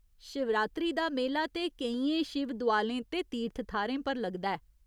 शिवरात्री दा मेला ते केइयें शिवदोआलें ते तीर्थ थाह्‌रें पर लगदा ऐ।